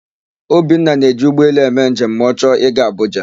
Obinna na-eji ụgbọelu eme njem ma ọ chọọ ị gaa Abụja.